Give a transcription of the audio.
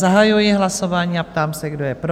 Zahajuji hlasování a ptám se, kdo je pro?